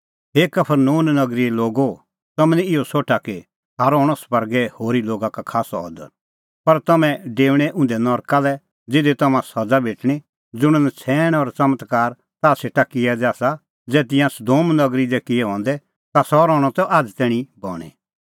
हे कफरनहूम नगरीए लोगो तम्हैं निं इहअ सोठा कि थारअ हणअ स्वर्गै होरी लोगा का खास्सअ अदर पर तम्हैं डेऊणैं उंधै नरका लै ज़िधी तम्हां सज़ा भेटणीं ज़ुंण नछ़ैण और च़मत्कार ताह सेटा किऐ दै आसा ज़ै तिंयां सदोम नगरी दी किऐ हंदै ता सह रहणअ त आझ़ तैणीं बणीं